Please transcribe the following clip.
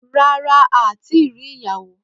Rárá a ti ri ìyàwó